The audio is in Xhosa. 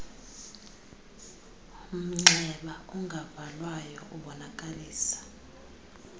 mnxeba ungavalwayo ubonakalisa